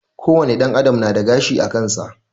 Ko wane ɗan adam nada gashi akansa